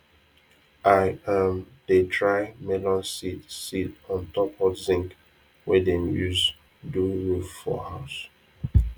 i um dey dry melon seed seed on top hot zinc wey dem use do roof for house